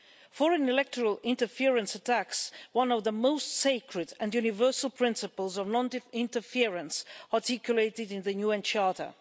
Foreign electoral interference attacks one of the most sacred and universal principles of non-interference articulated in the UN Charter.